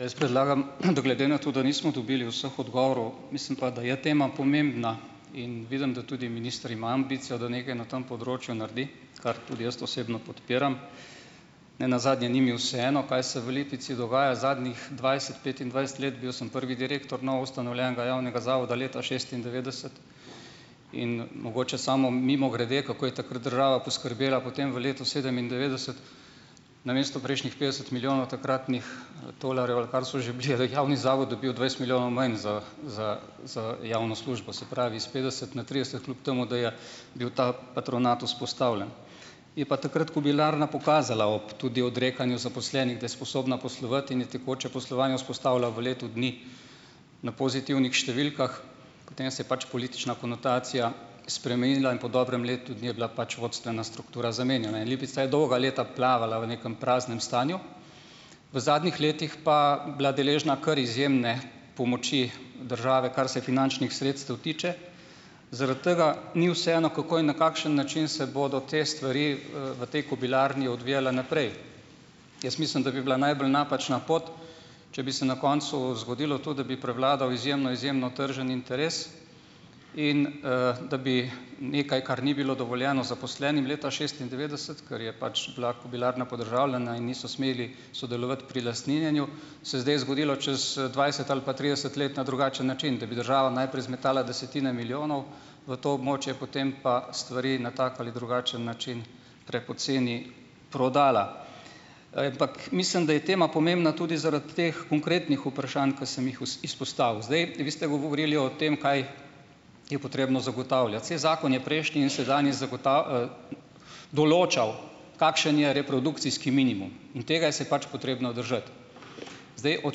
Jaz predlagam, glede na to, da nismo dobili vseh odgovorov, mislim pa, da je tema pomembna, in vidim, da tudi minister ima ambicijo, da nekaj na tem področju naredi, kar tudi jaz osebno podpiram, ne nazadnje ni mi vseeno, kaj se v Lipici dogaja zadnjih dvajset, petindvajset let. Bil sem prvi direktor novoustanovljenega javnega zavoda leta šestindevetdeset. In mogoče samo mimogrede, kako je takrat država poskrbela potem v letu sedemindevetdeset. Namesto prejšnjih petdeset milijonov takratnih tolarjev, ali kar so že bili, je javni zavod dobil dvajset milijonov manj za za za javno službo. Se pravi, iz petdeset na trideset, kljub temu da je bil ta patronat vzpostavljen. Je pa takrat kobilarna pokazala ob tudi odrekanju zaposlenih, da je sposobna poslovati, in je tekoče poslovanje vzpostavila v letu dni na pozitivnih številkah, potem se je pač politična konotacija spremenila in po dobrem letu dni je bila pač vodstvena struktura zamenjana. In Lipica je dolga leta plavala v nekem praznem stanju. V zadnjih letih pa bila deležna kar izjemne pomoči države, kar se finančnih sredstev tiče. Zaradi tega ni vseeno, kako in na kakšen način se bodo te stvari v tej kobilarni odvijale naprej. Jaz mislim, da bi bila najbolj napačna pot, če bi se na koncu zgodilo to, da bi prevladal izjemno izjemno tržen interes in, da bi nekaj, kar ni bilo dovoljeno zaposlenim leta šestindevetdeset, ker je pač bila kobilarna podržavljena in niso smeli sodelovati pri lastninjenju, se je zdaj zgodilo čez, dvajset ali pa trideset let na drugačen način, da bi država najprej zmetala desetine milijonov v to območje, potem pa stvari na tak ali drugačen način prepoceni prodala. Mislim, da je tema pomembna tudi zaradi teh konkretnih vprašanj, ki sem jih izpostavil. Zdaj, vi ste govorili o tem, kaj je potrebno zagotavljati. Saj zakon je prejšnji in sedanji določal, kakšen je reprodukcijski minimum in tega se je pač potrebno držati ... Zdaj, od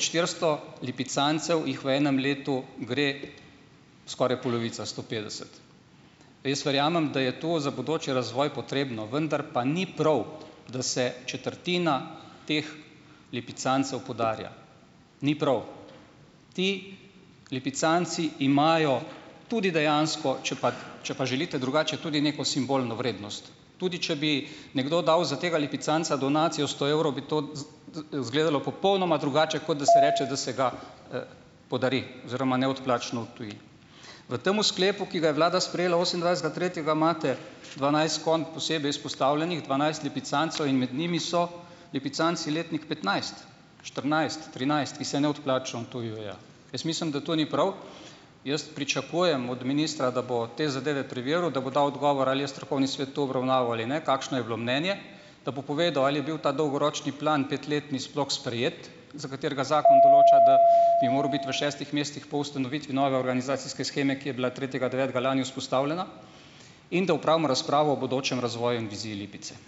štiristo lipicancev jih v enem letu gre skoraj polovica, sto petdeset. Jaz verjamem, da je to za bodoči razvoj potrebno, vendar pa ni prav, da se četrtina teh lipicancev podarja. Ni prav. Ti lipicanci imajo tudi dejansko, če pa če pa želite drugače, tudi neko simbolno vrednost, tudi če bi nekdo dal za tega lipicanca donacijo sto evrov, bi to izgledalo popolnoma drugače, kot da se reče, da se ga podari oziroma neodplačno odtuji. V tem sklepu, ki ga je vlada sprejela osemindvajsetega tretjega, imate dvanajst konj posebej izpostavljenih, dvanajst lipicancev, in med njimi so lipicanci letnik petnajst, štirinajst, trinajst, ki se neodplačno odtujujejo. Jaz mislim, da to ni prav. Jaz pričakujem od ministra, da bo te zadeve preveril, da bo dal odgovor ali je strokovni svet to obravnaval ali ne, kakšno je bilo mnenje, da bo povedal, ali je bil ta dolgoročni plan, petletni, sploh sprejet, za katerega zakon določa, da bi moral biti v šestih mesecih po ustanovitvi nove organizacijske sheme, ki je bila tretjega devetega lani vzpostavljena, in da opravimo razpravo o bodočem razvoju in viziji Lipice.